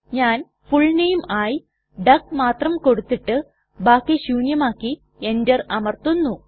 ഞാൻ full name ആയി duck മാത്രം കൊടുത്തിട്ട് ബാക്കി ശൂന്യമാക്കി എന്റർ അമർത്തുന്നു